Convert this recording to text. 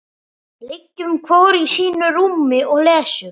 Liggjum hvor í sínu rúmi og lesum.